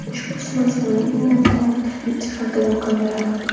Ushbu smartfonning eng muhim jihati bu kamera.